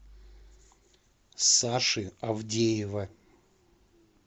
саши авдеева